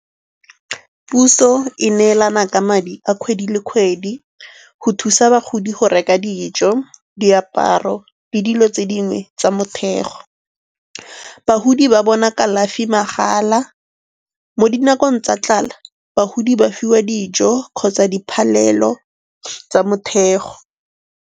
Puso e neelana ka madi a kgwedi le kgwedi go thusa bagodi go reka dijo, diaparo le dilo tse dingwe tsa mothego. Bagodi ba bona kalafi mahala. Mo dinakong tsa tlala bagodi ba fiwa dijo kgotsa diphalelo tsa motheo.